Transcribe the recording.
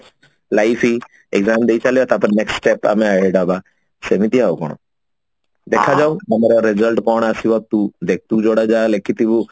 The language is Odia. life exam ଦେଇସାରିଲେ ତାପରେ next step ଆମେ worried ହବା ସେମିତି ଆଉ କଣ ଦେଖା ଯାଉ ଆମର result କଣ ଆସିବ ତୁ ଦେଖ ତୁ ଯୋଉଟା ଯାହା ଲେଖିଥିବୁ